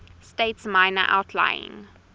states minor outlying